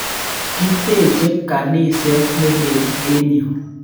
Kiteche kaniset ne lel eng' yun.